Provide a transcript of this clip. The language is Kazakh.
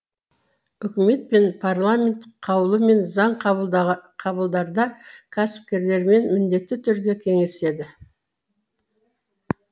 үкімет пен парламент қаулы мен заң қабылдарда кәсіпкерлермен міндетті түрде кеңеседі